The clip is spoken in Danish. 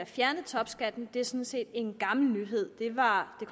fjernet topskatten er sådan set en gammel nyhed det var